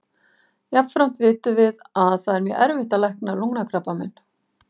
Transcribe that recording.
Jafnframt vitum við að það er mjög erfitt að lækna lungnakrabbamein.